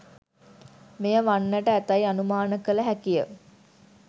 මෙය වන්නට ඇතැයි අනුමාන කළ හැකිය.